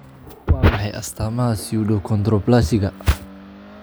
Waa maxay astaamaha pseudoachondroplasiga?